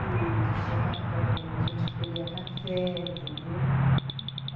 E...tinha ca eh ... a gente colhia café, entendeu? Uhum.